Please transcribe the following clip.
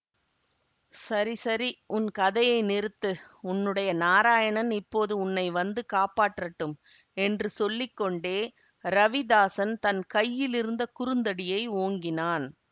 சரி சரி உன் கதையை நிறுத்து உன்னுடைய நாராயணன் இப்போது உன்னை வந்து காப்பாற்றட்டும் என்று சொல்லி கொண்டே ரவிதாஸன் தன் கையிலிருந்த குறுந்தடியை ஓங்கினான்